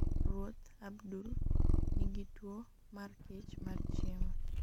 Ruoth Abdulf niigi tuwo mar kech mar chiemo.